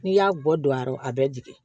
N'i y'a bɔ don a yɔrɔ a bɛ jigi